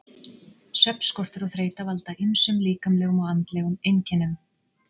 Svefnskortur og þreyta valda ýmsum líkamlegum og andlegum einkennum.